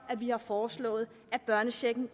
at vi har foreslået at børnechecken